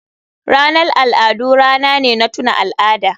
Ranar al'adu rana ne na tuna al'ada.